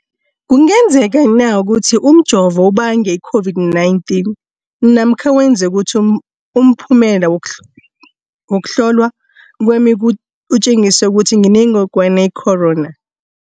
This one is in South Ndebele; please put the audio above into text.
kungenzekana ukuthi umjovo ubange i-COVID-19 namkha wenze ukuthi umphumela wokuhlolwa kwami utjengise ukuthi nginengogwana i-corona?